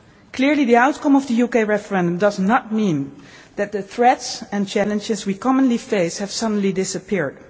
to do. Clearly, the outcome of the UK referendum does not mean that the threats and challenges we commonly face have suddenly disappeared.